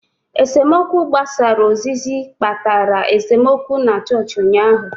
Esemokwu gbasara ozizi kpatara esemokwu na chọọchị ụnyaahụ.